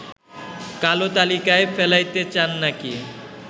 কালো তালিকায় ফেলাইতে চান নাকি